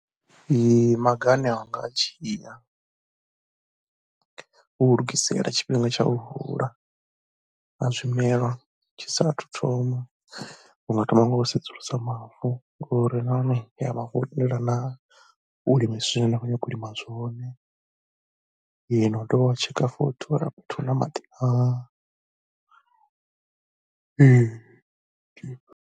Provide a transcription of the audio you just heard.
Maga ane a nga dzhia u lugiselela tshifhinga tsha u hula ha zwimelwa tshi saathu thoma. U nga thoma nga u sedzulusa mavu ngori uri nahone ya mavu a tendela na u lima zwine nda khou ṱoḓa u lima zwone na u dovha wa tsheka futhi uri afha fhethu hu na maḓi a .